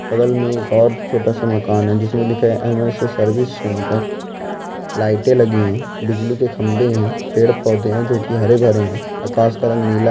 बगल में एक और छोटा सा मकान है एम एस सर्विस सेंटर ( लाईटें लगी है पेड़ पौधे हैं जोकि हरे भरे हैं आ काश का रंग नीला है।